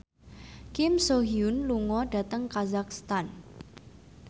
Kim So Hyun lunga dhateng kazakhstan